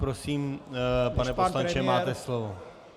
Prosím, pane poslanče, máte slovo.